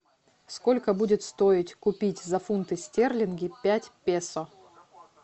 сколько будет стоить купить за фунты стерлинги пять песо